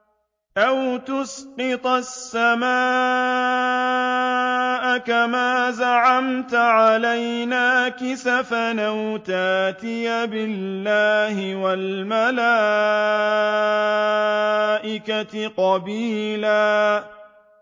أَوْ تُسْقِطَ السَّمَاءَ كَمَا زَعَمْتَ عَلَيْنَا كِسَفًا أَوْ تَأْتِيَ بِاللَّهِ وَالْمَلَائِكَةِ قَبِيلًا